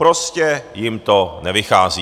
Prostě jim to nevychází.